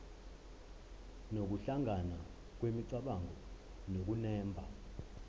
nokuhlangana kwemicabango nokunemba